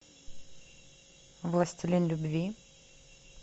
властелин любви